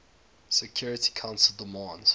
security council demands